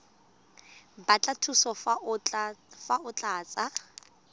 batla thuso fa o tlatsa